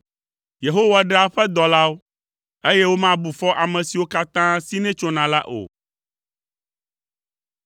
Yehowa ɖea eƒe dɔlawo, eye womabu fɔ ame siwo katã sinɛ tsona la o.